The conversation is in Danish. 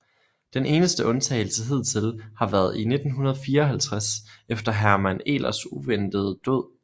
Den eneste undtagelse hidtil har været i 1954 efter Hermann Ehlers uventede død